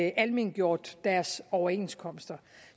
almengjort deres overenskomster